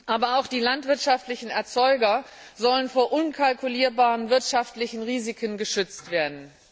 Aber auch die landwirtschaftlichen Erzeuger sollen vor unkalkulierbaren wirtschaftlichen Risiken geschützt werden.